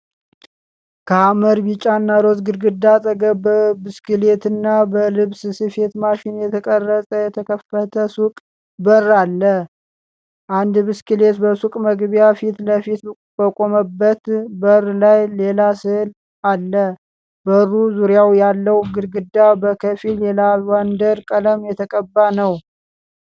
ከሐመር ቢጫና ሮዝ ግድግዳ አጠገብ በብስክሌትና በልብስ ስፌት ማሽን የተቀረጸ የተከፈተ ሱቅ በር አለ። አንድ ብስክሌት በሱቁ መግቢያ ፊት ለፊት በቆመበት በሩ ላይ ሌላ ሥዕል አለ። በሩ ዙሪያ ያለው ግድግዳ በከፊል የላቫንደር ቀለም የተቀባ ነው።